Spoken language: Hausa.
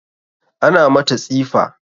Ana mata tsifa